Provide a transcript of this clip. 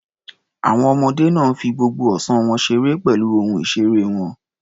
Àwọn ọmọdé náà fi gbogbo ọ̀sán wọn ṣeré pẹ̀lú ohun ìṣeré wọn.